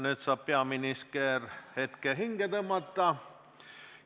Nüüd saab peaminister hetke hinge tõmmata.